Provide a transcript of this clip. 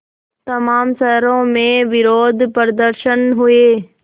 तमाम शहरों में विरोधप्रदर्शन हुए